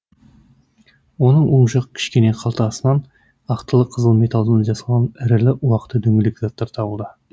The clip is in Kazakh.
оның оң жақ кішкене қалтасынан ақтылы қызыл металдан жасалған ірілі уақты дөңгелек заттар табылды